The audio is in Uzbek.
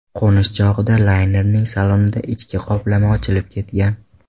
Qo‘nish chog‘ida laynerning salonida ichki qoplama ochilib ketgan.